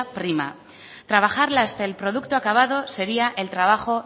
prima trabajarla hasta el producto acabado sería el trabajo